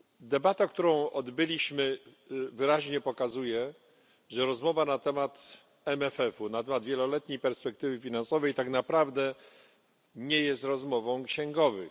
Debata, którą odbyliśmy, wyraźnie pokazuje, że rozmowa na temat MFF, na temat wieloletniej perspektywy finansowej, tak naprawdę nie jest rozmową księgowych.